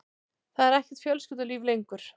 Það er ekkert fjölskyldulíf lengur.